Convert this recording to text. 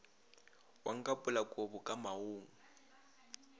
wa nkapola kobo ka maoong